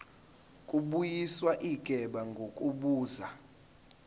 kubuyiswa igebe ngokubuza